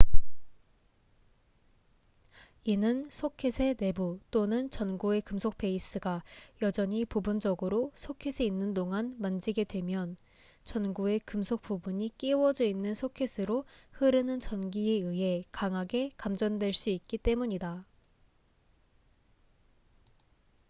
이는 소켓의 내부 또는 전구의 금속 베이스가 여전히 부분적으로 소켓에 있는 동안 만지게 되면 전구의 금속 부분이 끼워져 있는 소켓으로 흐르는 전기에 의해 강하게 감전될 수 있기 때문이다